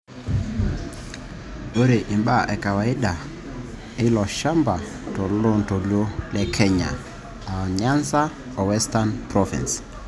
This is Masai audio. ore ibaa e kawaida ana ilchampa toloontoluo le kenya (Nyanzaa o Western provinces)